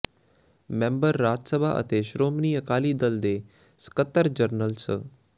member Rajya Sabha ਅਤੇ ਸ਼੍ਰੋਮਣੀ ਅਕਾਲੀ ਦਲ ਦੇ ਸਕੱਤਰ ਜਨਰਲ ਸ